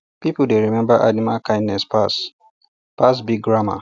people dey remember animal kindness pass pass big grammar